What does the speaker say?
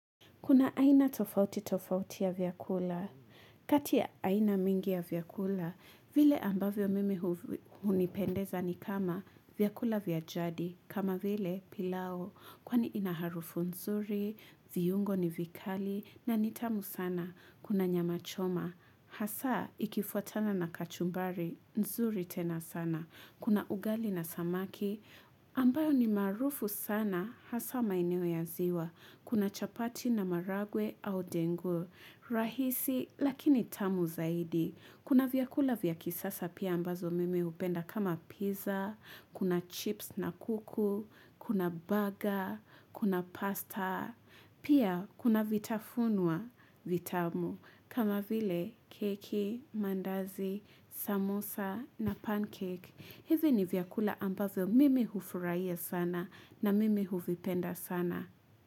Kuna aina tofauti tofauti ya vyakula kati ya aina mingi ya vyakula vile ambavyo mimi hunipendeza ni kama vyakula vya jadi kama vile pilau kwani ina harufu nzuri viungo ni vikali na ni tamu sana kuna nyama choma hasa ikifuatana na kachumbari nzuri tena sana kuna ugali na samaki ambayo ni maharufu sana hasa maeneo ya ziwa kuna chapati na maharagwe au dengo rahisi lakini tamu zaidi kuna vyakula vya kisasa pia ambazo mimi hupenda kama piza kuna chips na kuku kuna baga kuna pasta pia kuna vitafunwa vitamu kama vile keki mandazi samosa na pancake hizi ni vyakula ambazo mimi hufuraia sana na mimi huvipenda sana.